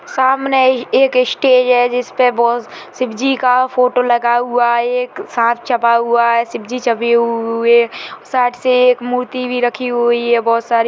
सामने एक स्टेज है जिसमे बहुत शिवजी का फोटो लगा हुआ है एक सांप छपा हुआ है शिवजी छपी हु हु हुई साथ मे एक मूर्ति भी रखी हुई है बहुत सारी--